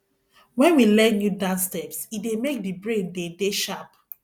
when we learn new dance steps e dey make di brain de dey sharp